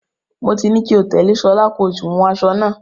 Mo ti ní kó tẹ̀lé Ṣọlá, kó sì wun aṣọ náà.